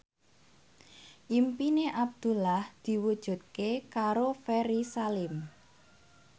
impine Abdullah diwujudke karo Ferry Salim